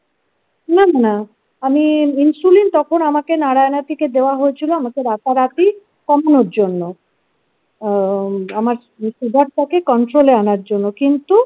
না না আমি insulin তখন আমাকে নারায়না থেকে দেওয়া হয়েছিল আমাকে রাতারাতি কমানোর জন্য আ আমার সুগার টাকে কন্ট্রোলে আনার জন্য কিন্ত।